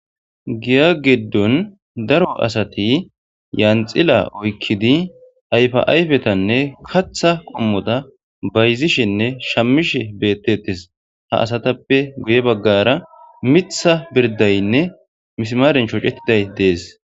Giya geddun daro asati yaanxila oykkidi ayfa'ayfetanne katha qommota bayzishenne shamishe beettetes ha asatappe guye baggara mitha birdaynne mismaaren choocettiday dees.